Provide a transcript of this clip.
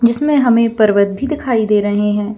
जिसमें हमें पर्वत भी दिखाई दे रहें हैं ।